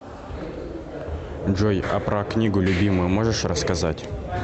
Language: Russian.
джой а про книгу любимую можешь рассказать